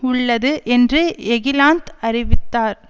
உள்ளது என்று எகிலாந்த் அறிவித்தார்